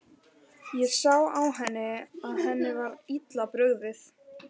Ég sá á henni að henni var illa brugðið.